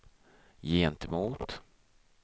gentemot